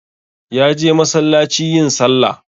Ya je masallaci yin sallah